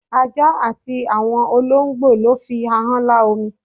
Ajá àti àwọn olóǹgbò ló fi ahán lá omi